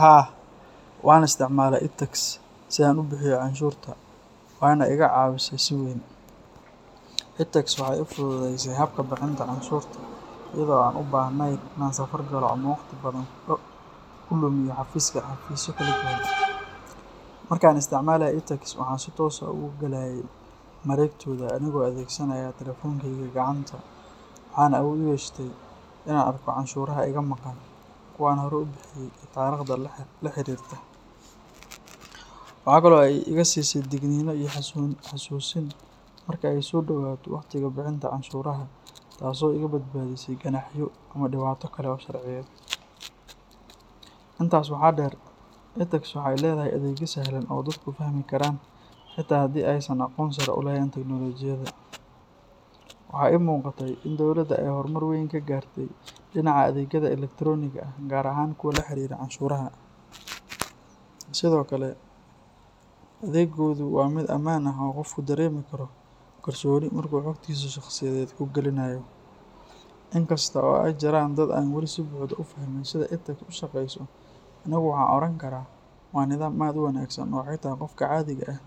Haa, waxaan isticmaalay itax si aan u bixiyo canshuurta waana iga caawisay si weyn. Itax waxay ii fududaysay habka bixinta canshuurta iyadoo aan u baahnayn in aan safar galo ama waqti badan ku lumiyo xafiisyo kala duwan. Marka aan isticmaalay itax, waxaan si toos ah ugu galayay mareegtooda anigoo adeegsanaya taleefankayga gacanta, waxaana awood u yeeshay in aan arko canshuuraha iga maqan, kuwa aan hore u bixiyay iyo taariikhda la xiriirta. Waxaa kale oo ay iga siisay digniinno iyo xasuusin marka ay soo dhowaato waqtiga bixinta canshuuraha taasoo iga badbaadisay ganaaxyo ama dhibaato kale oo sharciyeed. Intaas waxaa dheer, itax waxay leedahay adeegyo sahlan oo dadku fahmi karaan xitaa haddii aysan aqoon sare u lahayn tiknoolajiyada. Waxaa ii muuqatay in dawladda ay horumar weyn ka gaartay dhinaca adeegyada elektaroonigga ah gaar ahaan kuwa la xiriira canshuuraha. Sidoo kale, adeeggoodu waa mid ammaan ah oo qofku dareemi karo kalsooni marka uu xogtiisa shakhsiyeed ku gelinayo. In kasta oo ay jiraan dad aan wali si buuxda u fahmin sida itax u shaqeyso, anigu waxaan oran karaa waa nidaam aad u wanaagsan oo xitaa qofka caadiga ah uu